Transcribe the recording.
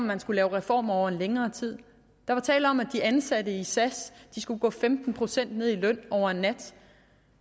man skulle lave reformer over en længere tid der var tale om at de ansatte i sas skulle gå femten procent ned i løn over en nat